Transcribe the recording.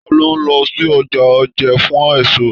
Talo n lọ sí ọjà Oje fún èso?